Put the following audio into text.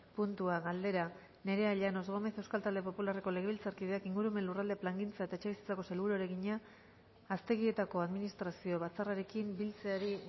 puntua galdera nerea llanos gómez euskal talde popularreko legebiltzarkideak ingurumen lurralde plangintza eta etxebizitzako sailburuari egina aztegietako administrazio batzarrarekin biltzeari